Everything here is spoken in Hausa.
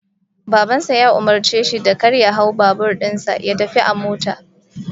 Baban sa ya umurce shi da kar ya hau babur din sa, ya tafi a mota